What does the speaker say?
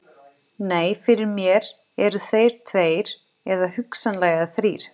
Nei, fyrir mér eru þeir tveir eða hugsanlega þrír.